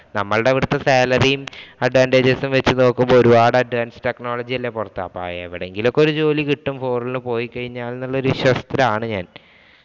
നമ്മടവിടത്തെ salary യും advantages ഉം വച്ച് നോക്കുമ്പോള്‍ അപ്പൊ എവിടെയെങ്കിലും ഒരു ജോലി കിട്ടും foreign ഇല്‍ പോയിക്കഴിഞ്ഞാല്‍ എന്നുള്ള വിശ്വാസത്തിലാണ് ഞാന്‍.